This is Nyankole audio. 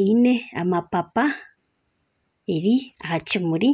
eine amapapa eri aha kimuri